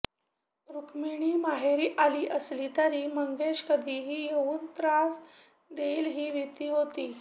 रुख्मिणी माहेरी आली असली तरी मंगेश कधीही येवून त्रास देईल ही भिती होती